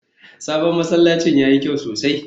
sabon masallacin yayi kyau sosai